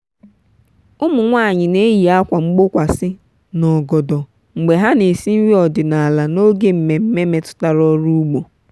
ụmụ nwanyị na-eyi akwa mgbokwasị na ogodo mgbe ha na-esi nri ọdịnala n'oge mmemme metụtara ọrụ ugbo.